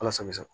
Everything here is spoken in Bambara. Ala sago i sago